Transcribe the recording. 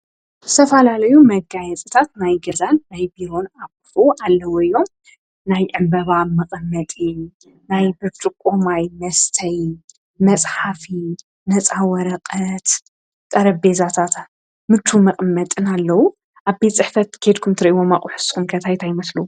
ዝተፈላለዩ መጋየጽታት ናይ ገዛን ናይ ቢሮን ኣቁሑ ኣለዉ እዮም፤ ናይ ዕንበባ መቀመጢ ናይ ብርጭቆ ማይ መስተይ መጽሓፊ ነፃ ወረቐት ጠረጴዛታት ምችዉ መቀመጢን ኣለዉ። ኣብ ቤት ጽሕፈት ኬድኩም እትርእይዎም ኣቁሑ ንስኩም ከ እንታይ እንታይ ይመስሉ?